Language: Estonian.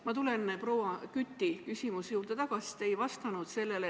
Ma tulen tagasi proua Küti küsimuse juurde, sest te ei vastanud sellele.